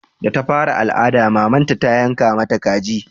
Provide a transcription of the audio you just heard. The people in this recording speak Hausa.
Da ta fara al'ada mamanta ta yanka mata kaji